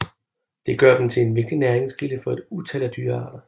Det gør dem til en vigtig næringskilde for et utal af dyrearter